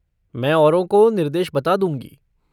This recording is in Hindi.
मैं औरों को निर्देश बता दूँगी।